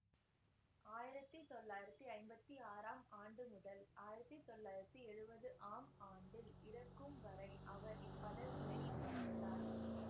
ஆயிரத்தி தொள்ளாயிரத்தி ஐம்பத்தி ஆறாம் ஆண்டு முதல் ஆயிரத்தி தொள்ளாயிரத்தி எழுவதாம் ஆண்டில் இறக்கும்வரை அவர் இப் பதவியை வகித்தார்